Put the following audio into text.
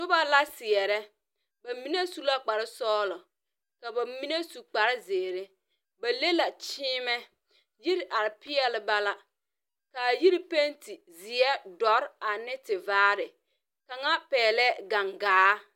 Nuba la seɛre, bamenne su la kpare sɔglo ka ba menne su kpare zeeri ba le la kyeenɛ yiri arẽ peele ba la ka a yiri penti zie, duro ane tevaare kanga pɛgle gangaa.